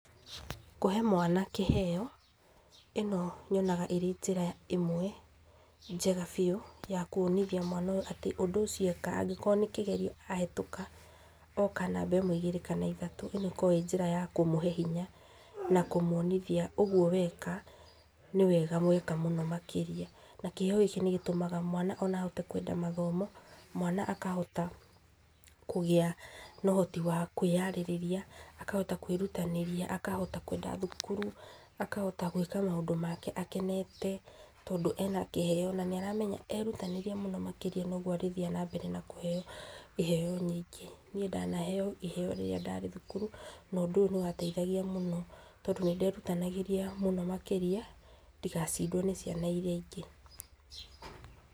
Kũhe mwana kĩheo, ĩno nyonaga ĩrĩ njĩra ĩmwe njega biũ, ya kwonithia mwana ũyũ ũndũ ũcio eka, angĩkorwo nĩ kĩgerio ahĩtũka, oka namba ĩmwe, igĩrĩ kana ithatũ , ĩno ĩkoragwo ĩ njĩra ya kũmũhe hinya na kũmwonithia ũgwo weka nĩwega weka mũno makĩrĩa, na kĩheo gĩkĩ nĩgĩtũmaga ona mwana ahote kwenda mathomo, mwana akahota kũgĩa na ũhoti wa kwĩyarĩria, akahota kwĩrutanĩria, akahota kwenda thukuru, akahota gwĩka maũndũ make akenete, tondũ ena kĩheo, na nĩ aramenya erutanĩria mũno makĩria nogwo arĩthiĩ na mbere na kũheo iheo nyingĩ, niĩ ndanaheo iheo rĩrĩa ndarĩ thukuru, na ũndũ ũyũ nĩ wadeithagia mũno tondũ nĩ nderutanagĩria mũno makĩria, ndigacindwo nĩ ciana iria ingĩ.